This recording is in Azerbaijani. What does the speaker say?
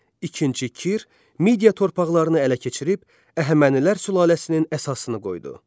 İkinci Kir Midiya torpaqlarını ələ keçirib Əhəmənilər sülaləsinin əsasını qoydu.